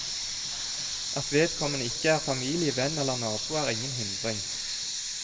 At vedkommende ikke er familie, venn eller nabo er ingen hindring.